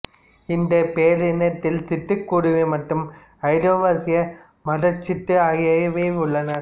இந்தப் பேரினத்தில் சிட்டுக்குருவி மற்றும் ஐரோவாசிய மரச் சிட்டு ஆகியவை உள்ளன